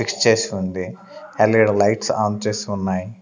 Fix చేసి ఉంది LED lights on చేసి ఉన్నాయి.